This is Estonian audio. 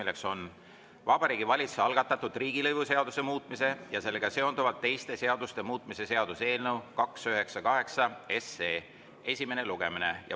See on Vabariigi Valitsuse algatatud riigilõivuseaduse muutmise ja sellega seonduvalt teiste seaduste muutmise seaduse eelnõu 298 esimene lugemine.